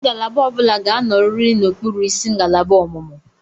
Ngalaba ọ bụla ga-anọrịrị n'okpuru isi ngalaba ọmụmụ.